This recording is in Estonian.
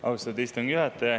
Austatud istungi juhataja!